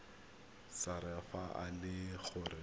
sars fa e le gore